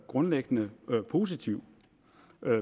grundlæggende positiv